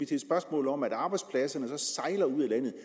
til et spørgsmål om at arbejdspladserne så sejler ud af landet